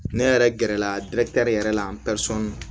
Ne yɛrɛ gɛrɛla yɛrɛ la